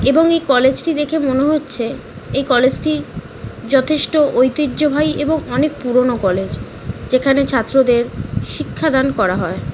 এবং এই কলেজ টি দেখে মনে হচ্ছে এই কলেজ টি যথেষ্ট ইতিহ্য বাহি এবং অনেক পুরোনো কলেজ । যেখানে ছাত্রদের শিক্ষাদান করা হয় ।